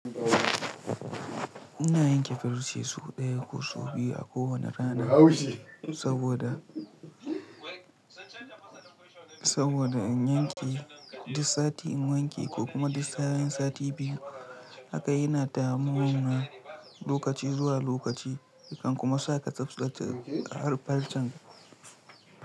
Ina yanke farce sau ɗaya ko sau biyu a kowane sati, saboda in yanke duk sati in wanke ko kuma duk tsawon sati biyu haka yana taimawa lokaci zuwa lokaci, yakan kuma sa ka tsaftace farcen.